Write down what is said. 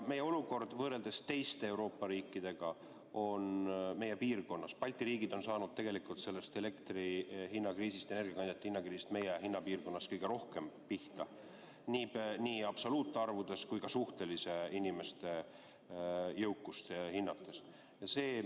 Meie olukord võrreldes teiste Euroopa riikidega on Balti riigid on saanud elektrihinna kriisist, energiakandjate hinna kriisist meie hinnapiirkonnas kõige rohkem pihta nii absoluutarvudes kui ka inimeste suhtelist jõukust arvestades.